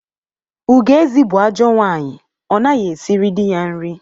Ugoezi bụ ajọ nwaanyị, ọ naghị esiri dị ya nri.